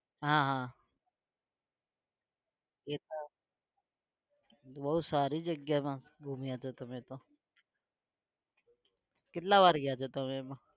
હા હા એ તો બહુ સારી જગ્યામાં ઘૂમ્યા તો તમે તો કેટલા વાર ગયા છો તમે એમાં?